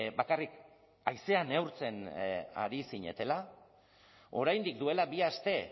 bakarrik haizea neurtzen ari zinetela oraindik duela bi aste